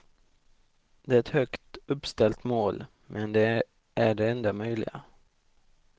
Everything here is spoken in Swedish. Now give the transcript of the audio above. Det är ett högt uppställt mål, men det är det enda möjliga.